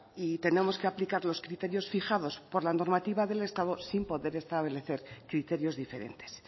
y tenemos que aplicar los criterios fijados por la normativa del estado sin poder establecer criterios diferentes